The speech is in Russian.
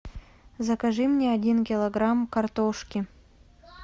закажи мне один килограмм картошки